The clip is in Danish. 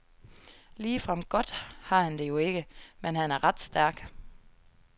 Ligefrem godt har han det jo ikke, men han er ret stærk.